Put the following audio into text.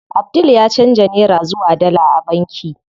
Abdul ya canza nera zuwa dala a banki.